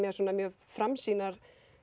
mjög framsýnar